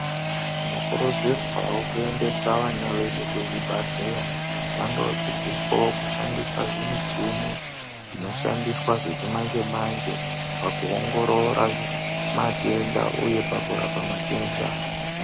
Tinokurudzirwawo kuendesa vana vedu kuzvibhadhlera vandodzidziswawo kushandisa zvimichini zvinoshandiswa zvechimanje manje pakuongorora matenda uye pakurapa matenda.